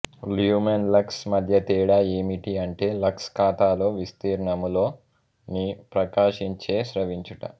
lumen lux మద్య తేడా ఎమిటి అంటె లక్స్ ఖాతాలో విస్తీర్ణము లొ ని ప్రకాశించేస్రవించుట